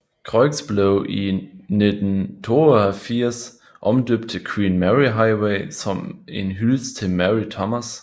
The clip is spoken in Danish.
Croix blev i 1972 omdøbt til Queen Mary Highway som en hyldest til Mary Thomas